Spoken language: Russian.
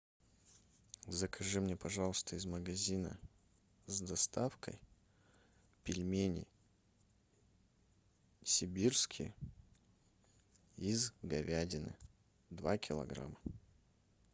закажи мне пожалуйста из магазина с доставкой пельмени сибирские из говядины два килограмма